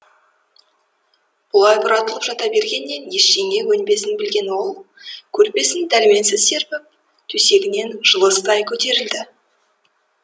бұлай бұратылып жата бергеннен ештеңе өнбесін білген ол көрпесін дәрменсіз серпіп төсегінен жылыстай көтерілді